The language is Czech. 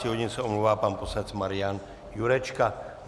Do 12 hodin se omlouvá pan poslanec Marian Jurečka.